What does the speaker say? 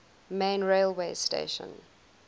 main railway station